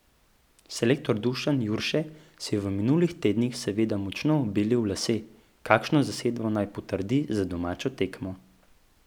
Selektor Dušan Jurše si je v minulih tednih seveda močno belil lase, kakšno zasedbo naj potrdi za domačo tekmo.